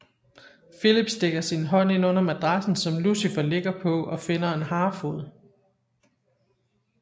Filip stikker sin hånd ind under madrassen som Lucifer ligger på og finder en harefod